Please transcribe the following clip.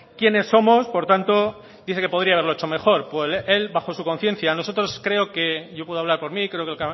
quiénes somos por tanto dice que podría haberlo hecho mejor pues el bajo su conciencia nosotros creo yo puedo hablar por mí creo que el